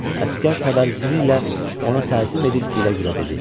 Əsgər təbərzini ilə ona təzim edib gülə-gülə dedi: